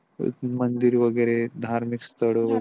एक मंदिर वगेरे धार्मिक स्थळ .